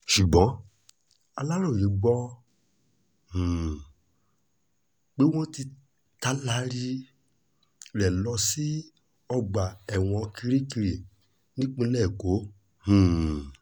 ṣùgbọ́n aláròye gbọ́ um pé wọ́n ti taari rẹ̀ lọ sí ọgbà ẹ̀wọ̀n kirikiri nípínlẹ̀ èkó um